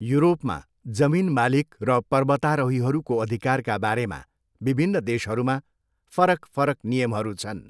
युरोपमा, जमिन मालिक र पर्वतारोहीहरूको अधिकारका बारेमा विभिन्न देशहरूमा फरक फरक नियमहरू छन्।